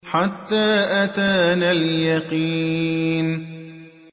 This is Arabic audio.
حَتَّىٰ أَتَانَا الْيَقِينُ